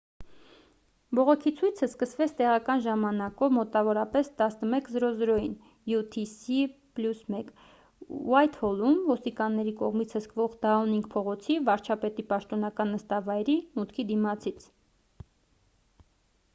բողոքի ցույցը սկսվեց տեղական ժամանակով մոտավորապես 11։00-ին utc+1 ուայթհոլում՝ ոստիկանների կողմից հսկվող դաունինգ փողոցի՝ վարչապետի պաշտոնական նստավայրի մուտքի դիմացից: